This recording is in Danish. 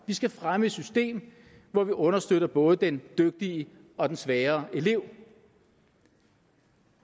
vi skal fremme et system hvor vi understøtter både den dygtige og den svagere elev